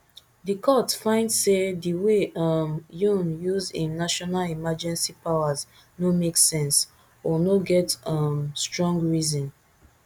di court find say di way um yoon use im national emergency powers no make sense or no get um strong reason